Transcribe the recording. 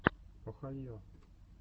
охайо